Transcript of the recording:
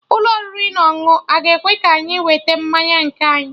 Ụlọ oriri na ọṅụṅụ aga ekwe ka anyị weta mmanya nke anyị?